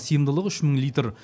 сыйымдылығы үш мың литр